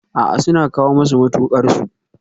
A'a, suna kawo masu mutuƙar su